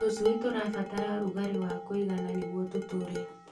Tũcui tũrabatara rugarĩ wa kũigana nĩguo tũtũre.